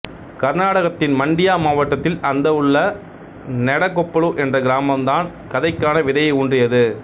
கர்நாடகத்தின் மண்டியா மாவட்டத்தில் அந்த உள்ள நெடகொப்பலு என்ற கிராமம்தான் கதைக்கான விதையை ஊன்றியது